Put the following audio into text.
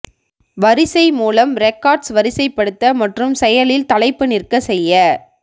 வரிசை மூலம் ரெக்கார்ட்ஸ் வரிசைப்படுத்த மற்றும் செயலில் தலைப்பு நிற்க செய்ய